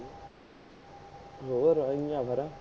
ਹੋਰ, ਐਵੇਂ ਹੀ ਹੈ ਫੇਰ